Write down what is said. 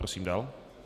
Prosím dál.